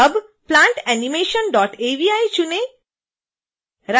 अब plantanimation avi चुनें